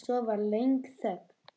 Svo var löng þögn.